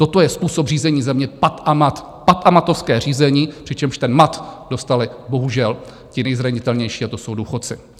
Toto je způsob řízení země Pat a Mat, pat- a matovské řízení, přičemž ten mat dostali bohužel ti nejzranitelnější, a to jsou důchodci.